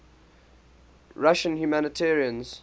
russian humanitarians